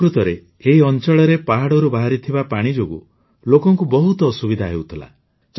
ପ୍ରକୃତରେ ଏହି ଅଂଚଳରେ ପାହାଡ଼ରୁ ବାହାରିଥିବା ପାଣି ଯୋଗୁଁ ଲୋକଙ୍କୁ ବହୁତ ଅସୁବିଧା ହେଉଥିଲା